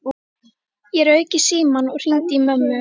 Ég rauk í símann og hringdi í mömmu.